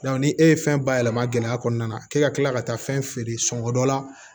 ni e ye fɛn bayɛlɛma gɛlɛya kɔnɔna na k'e ka kila ka taa fɛn feere sɔngɔ dɔ la